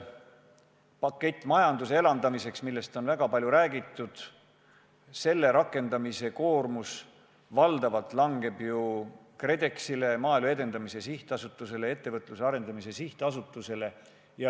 Pakett majanduse elavdamiseks, millest on väga palju räägitud – selle rakendamise koormus langeb valdavalt KredExile, Maaelu Edendamise Sihtasutusele, Ettevõtluse Arendamise Sihtasutusele.